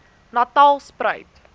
natalspruit